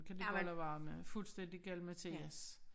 Kan de bare lade være med fuldstændig galimatias